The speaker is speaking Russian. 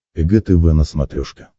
эг тв на смотрешке